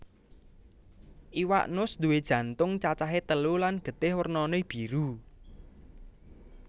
Iwak nus nduwé jantung cacahé telu lan getih wernané biru